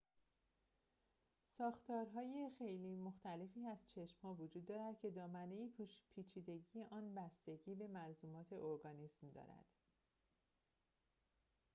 ساختارهای خیلی مختلفی از چشم‌ها وجود دارد که دامنه پیچیدگی آن بستگی به ملزومات ارگانیسم دارد